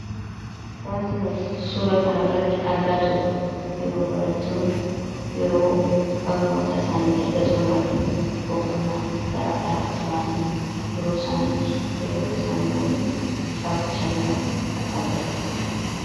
Waanti nuti suura kana irratti argaa jirru, yeroo barattoonni erga barnoota isaanii xummuranii boqonnaaf gara alaatti bahanii yeroo isaan hiriyoota isaanii wajjin taphachaa jiran kan agarsiisudha.